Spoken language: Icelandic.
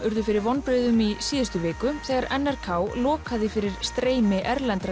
urðu fyrir vonbrigðum í síðustu viku þegar n r k lokaði fyrir streymi erlendra